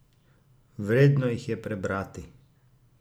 Vredno jih je prebrati!